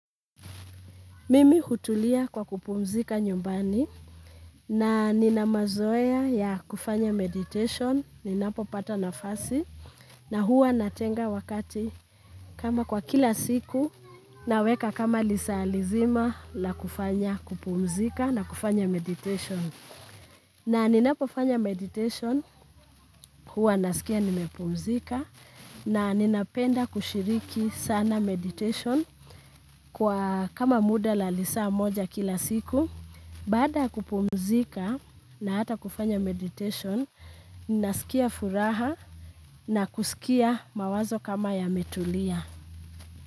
Mimi utulia kwa kupumzika nyumbani na nina mazoea ya kufanya meditation, ninapo pata nafasi na huwa natenga wakati kama kwa kila siku naweka kama lisaalizima la kufanya kupumzika na kufanya meditation. Na ninapofanya meditation, huwa nasikia nimepumzika na ninapenda kushiriki sana meditation kwa kama muda la lisaa moja kila siku. Baada ya kupumzika na hata kufanya meditation, ninasikia furaha na kusikia mawazo kama yametulia.